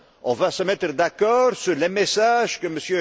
On va se mettre d'accord sur les messages